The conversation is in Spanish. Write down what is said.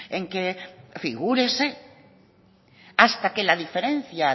en que figúrese hasta que la diferencia